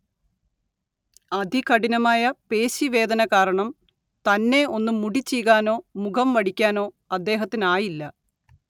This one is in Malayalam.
അതികഠിനമായ പേശി വേദന കാരണം തന്നെ ഒന്ന് മുടി ചീകാനോ മുഖം വടിക്കാനൊ അദ്ദേഹത്തിനായില്ല